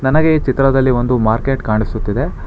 ನನಗೆ ಈ ಚಿತ್ರದಲ್ಲಿ ಒಂದು ಮಾರ್ಕೆಟ್ ಕಾಣಿಸುತ್ತಿದೆ.